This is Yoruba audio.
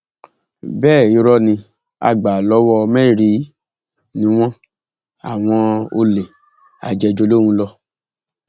bẹẹ irọ ní àgbàlọwọmẹrìí ni wọn àwọn olè ajéjúolóhùnlọ